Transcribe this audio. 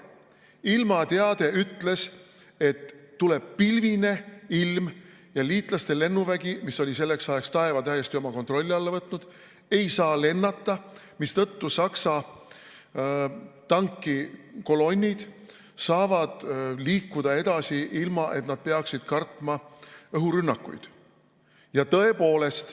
Ilmateade ütles, et tuleb pilvine ilm ja liitlaste lennuvägi, mis oli selleks ajaks taeva täiesti oma kontrolli alla võtnud, ei saa lennata, mistõttu Saksa tankikolonnid saavad liikuda edasi, ilma et nad peaksid kartma õhurünnakuid.